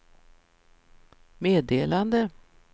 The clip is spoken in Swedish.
meddelande